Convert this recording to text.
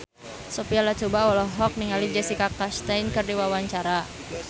Sophia Latjuba olohok ningali Jessica Chastain keur diwawancara